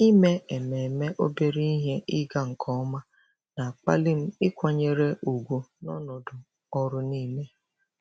Ime ememe obere ihe ịga nke ọma na-akpali m ịkwanyere ùgwù n'ọnọdụ ọrụ niile.